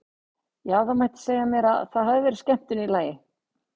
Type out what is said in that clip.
Já, það mætti segja mér að það hafi verið skemmtun í lagi!